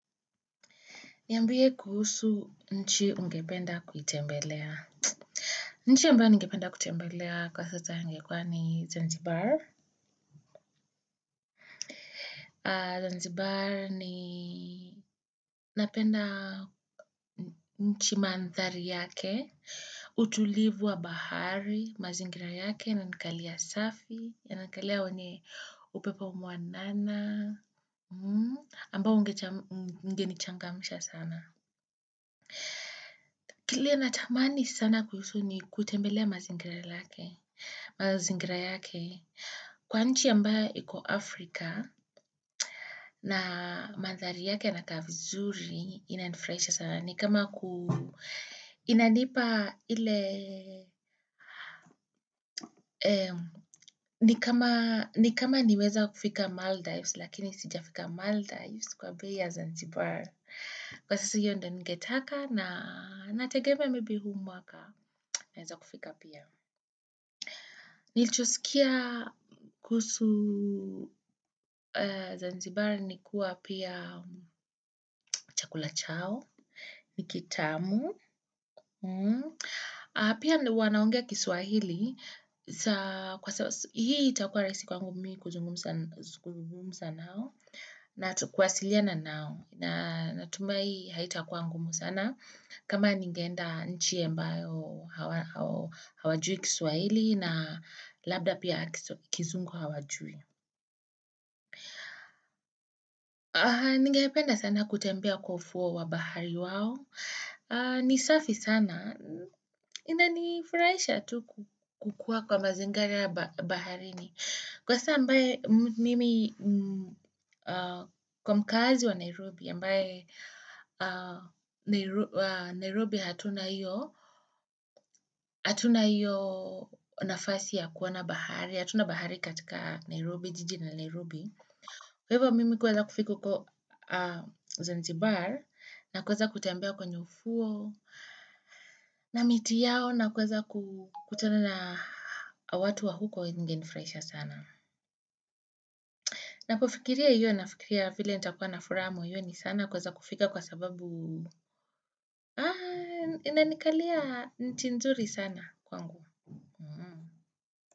Niambie kuhusu nchi ungependa kutembelea. Nchi ambayo ningependa kutembelea kwa sasa ingekuwa ni Zanzibar. Zanzibar ni napenda nchi mandhari yake, utulivu wa bahari, mazingira yake inanikalia safi, inanikalia wanye upepo mwanana, ambao ungenichangamusha sana. Kile natamani sana kuhusu ni kutembelea mazingira lake, mazingira yake, kwa nchi ambayo iko Afrika na mandhari yake yanakaa vizuri inanifurahisha sana. Ni kama niweza kufika Maldives lakini sija fika Maldives kwa bei ya Zanzibar kwa sisi hiyo ndio ningetaka na nategemea maybe huu mwaka naweza kufika pia. Nilichosikia kuhusu zanzibari ni kuwa pia chakula chao, nikitamu. Pia wanaongea kiswahili, hii itakuwa rahisi kwangu mi kuzungumuza nao. Na kuwasiliana nao. Natumai haita kuwa ngumu sana. Kama ningeenda nchi ambayo hawajui kiswahili na labda pia kizungu hawajui. Ningependa sana kutembea kwa ufuo wa bahari wao. Ni safi sana. Inani furahisha tu kukuwa kwa mazingari ya baharini. Kwa saa ambaye mimi kwa mkaazi wa Nairobi, ambaye Nairobi hatuna hiyo, hatuna hiyo nafasi ya kuona bahari, hatuna bahari katika Nairobi, jiji la Nairobi. Kwa hivyo mimi kuweza kufika huko Zanzibar na kuweza kutembea kwenye ufuo na miti yao na kuweza kutana na watu wa huko ingenifurahisha sana. Na kufikiria hiyo na fikiria vile nitakuwa na furaha moyoni sana kuweza kufika kwa sababu inanikalia nchi nzuri sana kwangu.